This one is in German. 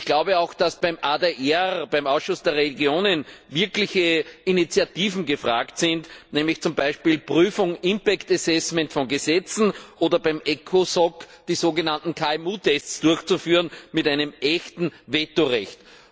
Ich glaube auch, dass beim AdR, dem Ausschuss der Regionen, wirkliche Initiativen gefragt sind, nämlich zum Beispiel Prüfung, Folgenabschätzung von Gesetzen, oder beim EWSA, die sogenannten KMU Tests durchzuführen, mit einem echten Vetorecht.